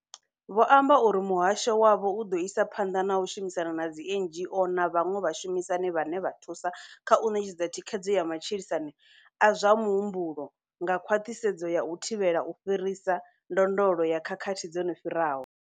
Vho amba uri muhasho wavho u ḓo isa phanḓa na u shumisana na dzi NGO na vhaṅwe vhashumisani vhane vha thusa kha u ṋetshedza thikhedzo ya matshilisano a zwa muhumbulo nga khwaṱhisedzo ya u thivhela u fhirisa ndondolo ya khakhathi dzo no fhiraho.